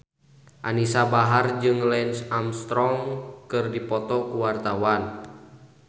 Anisa Bahar jeung Lance Armstrong keur dipoto ku wartawan